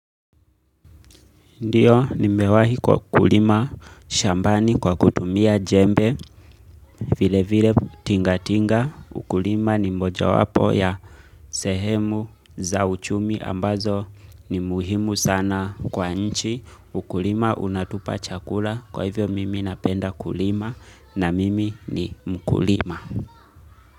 Ndiyo, nimewahi kulima shambani kwa kutumia jembe, vile vile tinga tinga, ukulima ni mmoja wapo ya sehemu za uchumi ambazo ni muhimu sana kwa nchi, ukulima unatupa chakula, kwa hivyo mimi napenda kulima na mimi ni mkulima.